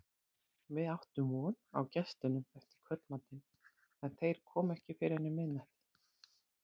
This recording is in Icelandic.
Við áttum von á gestunum eftir kvöldmatinn, en þeir komu ekki fyrr en um miðnætti.